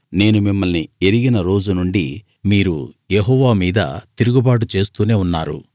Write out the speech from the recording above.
నేను మిమ్మల్ని ఎరిగిన రోజు నుండీ మీరు యెహోవా మీద తిరుగుబాటు చేస్తూనే ఉన్నారు